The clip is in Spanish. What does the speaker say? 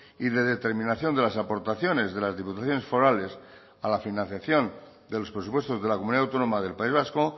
y de determinación de las aportaciones de las diputaciones forales a la financiación de los presupuestos de la comunidad autónoma del país vasco